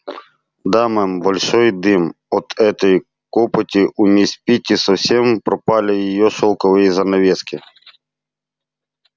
да мэм большой дым от этой копоти у мисс питти совсем пропали её шелковые занавески